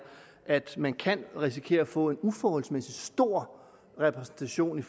at man kan risikere at få en uforholdsmæssig stor repræsentation i